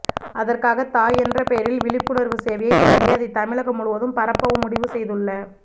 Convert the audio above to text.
அதற்காக தாய் என்ற பெயரில் விழிப்புணர்வு சேவையைத் தொடங்கி அதை தமிழகம் முழுவதும் பரப்பவும் முடிவு செய்துள்ள